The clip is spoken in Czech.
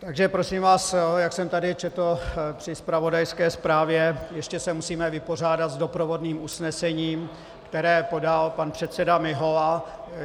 Takže prosím vás, jak jsem tady četl při zpravodajské zprávě, ještě se musíme vypořádat s doprovodným usnesením, které podal pan předseda Mihola.